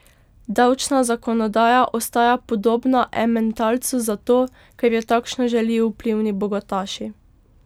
Davčna zakonodaja ostaja podobna ementalcu zato, ker jo takšno želijo vplivni bogataši.